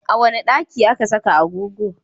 A wane daki ake saka agogo?